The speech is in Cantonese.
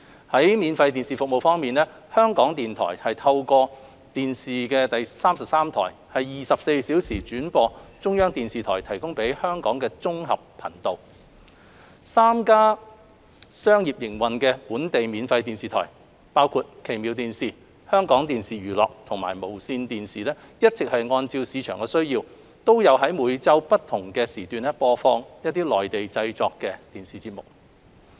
在免費電視服務方面，香港電台透過電視33台24小時轉播中國中央電視台提供給香港的綜合頻道 ；3 家商業營運的本地免費電視台，包括奇妙電視、香港電視娛樂及無綫電視，一直按市場需要，在每周不同時段播放內地製作的電視節目。